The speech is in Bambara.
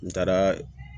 N taaraa